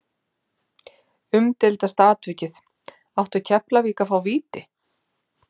Umdeildasta atvikið Átti Keflavík að fá víti?